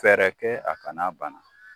Fɛɛrɛkɛ a kana bana.